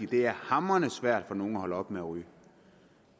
det er hamrende svært for nogle at holde op med at ryge